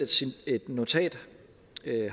et notat